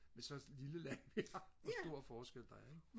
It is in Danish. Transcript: i sådan et lille land hvor stor forskel der er ikke